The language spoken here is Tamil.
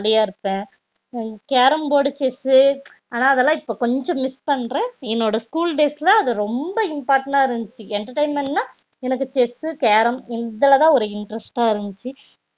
நா ஜாலி யா இருப்ப carrom board chess ஆனா அதுலா இப்போ கொஞ்சம் miss பண்ற என்னோட school days ல அது ரொம்ப important னா இருந்துச்சி entertainment நா என்னக்கு chess carrom இதுலதா ஒரு interest டா இருந்துச்சி